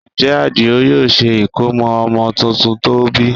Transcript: Ǹjẹ́ Àdìó yóò ṣe ìkómọ ọmọ tuntun tó bí?